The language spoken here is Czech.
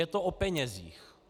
Je to o penězích.